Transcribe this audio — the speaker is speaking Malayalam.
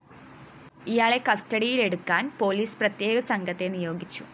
ഇയാളെ കസ്റ്റഡിയിലെടുക്കാന്‍ പോലീസ് പ്രതേക സംഘത്തെ നിയോഗിച്ചു